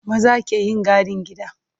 Maza ke yin gadin gida.